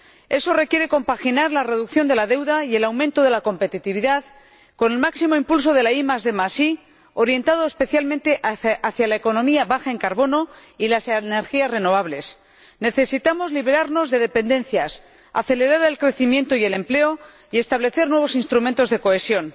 Eso requiere compaginar la reducción de la deuda y el aumento de la competitividad con el máximo impulso de la IDI, orientado especialmente hacia la economía baja en carbono y las energías renovables. Necesitamos liberarnos de dependencias, acelerar el crecimiento y el empleo y establecer nuevos instrumentos de cohesión